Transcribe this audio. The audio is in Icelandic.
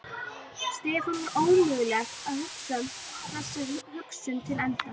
Stefáni var ómögulegt að hugsa þessa hugsun til enda.